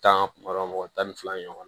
Tan kuma dɔ la mɔgɔ tan ni fila ɲɔgɔnna